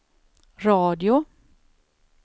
radio